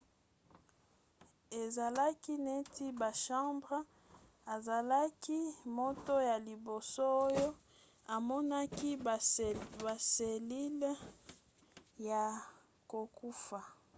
ezalaki neti bachambre. azalaki moto ya liboso oyo amonaki baselile ya kokufa